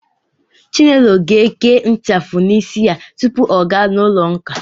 Chinelo ga-eke ịchafụ n'isi ya tupu ọ gawa ụlọụka.